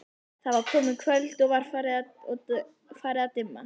Það er komið kvöld og farið að dimma.